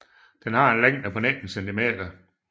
Den har en længde på 19 cm